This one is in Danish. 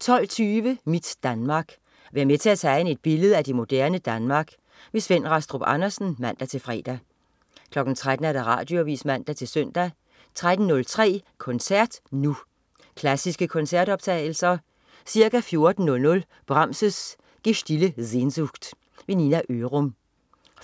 12.20 Mit Danmark. Vær med til at tegne et billede af det moderne Danmark. Svend Rastrup Andersen (man-fre) 13.00 Radioavis (man-søn) 13.03 Koncert Nu. Klassiske koncertoptagelser. Ca. 14.00 Brahms: Gestillte Sehnsucht. Nina Ørum